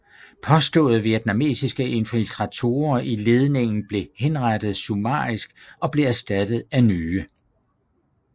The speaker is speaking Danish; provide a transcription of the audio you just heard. Påståede vietnamesiske infiltratorer i ledningen blev henrettet summarisk og blev erstattet af nye